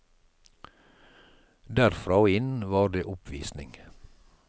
Derfra og inn var det oppvisning.